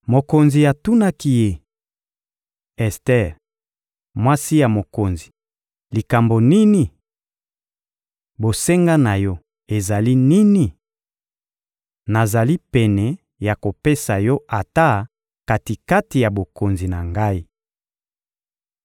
Mokonzi atunaki ye: — Ester, mwasi ya mokonzi, likambo nini? Bosenga na yo ezali nini? Nazali pene ya kopesa yo ata kati-kati ya bokonzi na ngai!